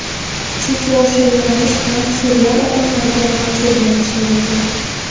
Chunki o‘sha yo‘nalish bilan serial odamlarga manzur bo‘lishi mumkin.